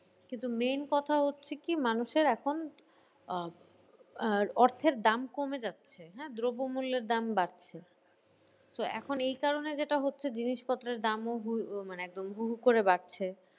কিন্তু main কথা হচ্ছে কি মানুষের এখন আহ আহ অর্থের দাম কমে যাচ্ছে। হ্যাঁ দ্রব্য মূল্যের দাম বাড়ছে তো এখন এই কারণে যেটা হচ্ছে জিনিসপত্রের দামও মানে একদম হু হু করে বাড়ছে।